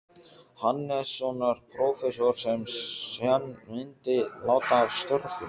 Hannessonar, prófessors, sem senn myndi láta af störfum.